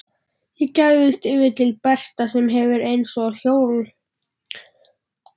Ég gægist yfir til Berta sem sefur eins og hjólhestapumpa.